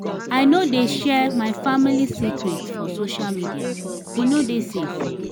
i no dey share my family secret for social media e no dey safe.